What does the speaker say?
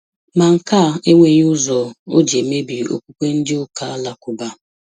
Ma nke a enweghị ụzọ ọ jị emebi okwukwe ndị ụka Alakuba